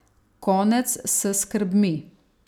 Konec s skrbmi.